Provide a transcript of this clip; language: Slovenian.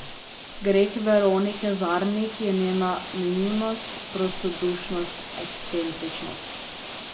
Greh Veronike Zarnik je njena naivnost, prostodušnost, ekscentričnost.